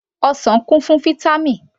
Ọsàn kún fún Vítámì